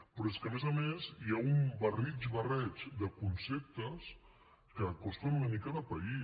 però és que a més a més hi ha un barrig barreig de conceptes que costen una mica de pair